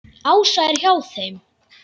Ása er hjá þeim.